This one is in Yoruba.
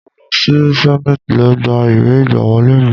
Mo lọ sí senate lọ gba ìwé ìgbàwọlé mi.